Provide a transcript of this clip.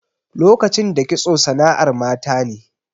Lokacin da kitso sana'ar mata ne.